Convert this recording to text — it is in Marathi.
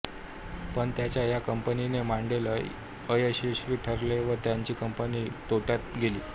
पण त्यांचा ह्या कंपनीचे मॉडेल अयशस्वी ठरले व त्यांची कंपनी तोट्यात गेली